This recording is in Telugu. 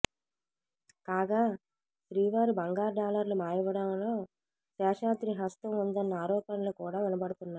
కాగా శ్రీవారి బంగారు డాలర్లు మాయమవ్వడంలో శేషాద్రి హస్తం ఉందన్న ఆరోపణలు కూడా వినపడుతున్నాయి